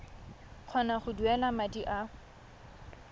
kgona go duela madi a